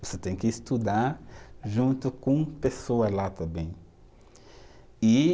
Você tem que estudar junto com pessoas lá também. E